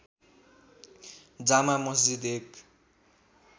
जामा मस्जिद एक